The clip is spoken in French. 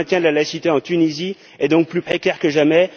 Le maintien de la laïcité en Tunisie est donc plus précaire que jamais.